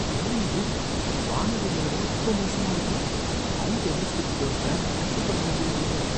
என்ன இது! வானிலை நிலவரம் ரொம்ப மோசமா இருக்கு, மவுண்ட் எவரெஸ்டுக்கு போற பிளான கேன்சல் பண்ண வேண்டி வந்துருமோ?